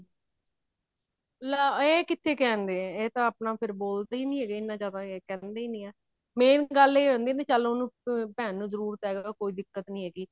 ਇਹ ਕਿੱਥੇ ਕਹਿੰਦੇ ਨੇ ਇਹ ਤਾਂ ਫ਼ੇਰ ਆਪਣਾ ਬੋਲਦੇ ਨੀ ਹੀ ਹੈਗੇ ਇੰਨਾ ਜਿਆਦਾ ਇਹ ਕਹਿੰਦੇ ਹੀ ਨਹੀਂ ਆ ਮੈਂ ਗੱਲ ਇਹ ਆਉਂਦੀ ਆ ਵੀ ਚੱਲ ਉਹਨੂੰ ਭੇਣ ਨੂ ਜਰੂਰਤ ਹੈ ਕੋਈ ਦਿੱਕਤ ਨੀ ਹੈਗੀ